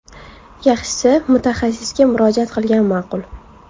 Yaxshisi, mutaxassisga murojaat qilgan ma’qul.